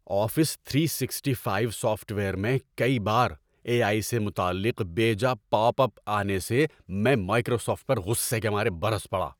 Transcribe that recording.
Office three sixty five software میں کئی بار اے آئی سے متعلق بیجا پاپ اپ آنے سے میں مائیکروسافٹ پر غصہ کے مارے برس پڑا۔